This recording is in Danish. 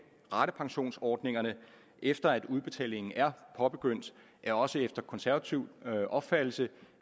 ratepensionsordningerne efter at udbetalingen er påbegyndt er også efter konservativ opfattelse